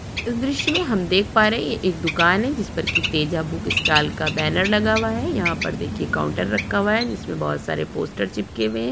इस दृश्य में हम देख पा रहे है ये एक दुकान है जिस पर की बुक स्टॉल का बैनर लगा हुआ है यहाँ पर देखिये काउंटर रखा हुआ है जिस पर की बहुत सारे पोस्टर्स चिपके हुए है।